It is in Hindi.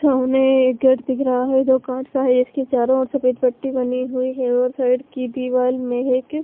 थोने गेट दिख रहा हैं जो कांच का हैं इसके चारो ओर सफ़ेद पट्टी बनी हुई हैं और साइड की दीवार महक--